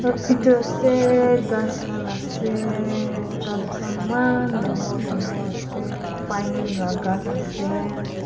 Etu ase khass khan ase khas khan man dangor dangor ase bink la khas ase.